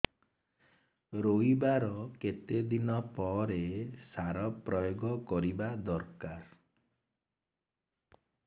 ରୋଈବା ର କେତେ ଦିନ ପରେ ସାର ପ୍ରୋୟାଗ କରିବା ଦରକାର